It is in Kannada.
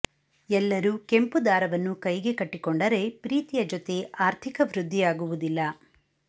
ಎಲ್ಲರೂ ಕೆಂಪು ದಾರವನ್ನು ಕೈಗೆ ಕಟ್ಟಿಕೊಂಡರೆ ಪ್ರೀತಿಯ ಜೊತೆ ಆರ್ಥಿಕ ವೃದ್ಧಿಯಾಗುವುದಿಲ್ಲ